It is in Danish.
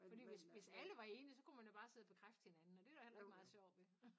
Fordi hvis hvis alle var enige så kunne man jo bare sidde og bekræfte hinanden og det er der heller ikke meget sjov ved